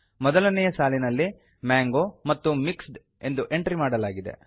ಮೊದಲನೆಯ ಸಾಲಿನಲ್ಲಿ ಮಾಂಗೋ ಮತ್ತು ಮಿಕ್ಸ್ಡ್ ಎಂದು ಎಂಟ್ರಿ ಮಾಡಲಾಗಿದೆ